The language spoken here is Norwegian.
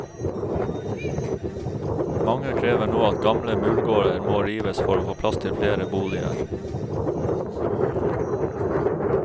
Mange krever nå at gamle murgårder må rives for å få plass til flere boliger.